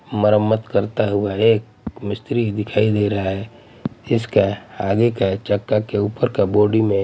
मरम्मत करता हुआ एक मिस्त्री दिखाई दे रहा है इसका आगे का चक्का के ऊपर का बॉडी में--